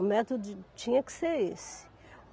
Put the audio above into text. O método tinha que ser esse.